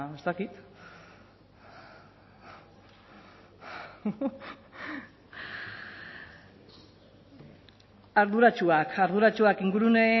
ez dakit arduratsuak arduratsuak ingurune